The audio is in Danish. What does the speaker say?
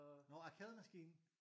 Nårh arkademaskine?